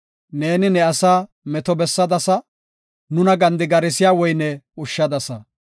Neeni ne asaa meto bessadasa; nuna gandigarsiya woyne ushshadasa.